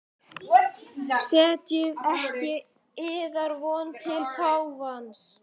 Setjið ekki yðar von til páfans.